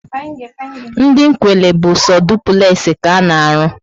Ndị Nkwelle bu so dupulexi ka ana arụ